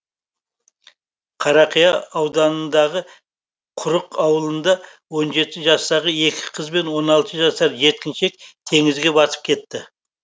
қарақия ауданындағы құрық ауылында он жеті жастағы екі қыз бен он алты жасар жеткіншек теңізге батып кетті